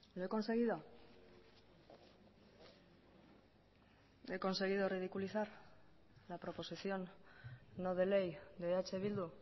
lo he conseguido he conseguido ridiculizar la proposición no de ley de eh bildu